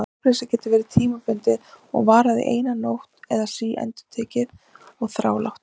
Svefnleysið getur verið tímabundið og varað eina nótt eða síendurtekið og þrálátt.